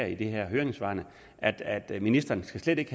i de her høringssvar at at ministeren slet ikke